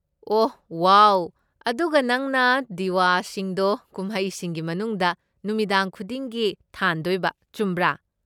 ꯑꯣꯍ wow. ꯑꯗꯨꯒ ꯅꯪꯅ ꯗꯤꯌꯥꯁꯤꯡꯗꯣ ꯀꯨꯝꯍꯩꯁꯤꯒꯤ ꯃꯅꯨꯡꯗ ꯅꯨꯃꯤꯗꯥꯡ ꯈꯨꯗꯤꯡꯒꯤ ꯊꯥꯟꯗꯣꯏꯕ, ꯆꯨꯝꯕ꯭ꯔꯥ?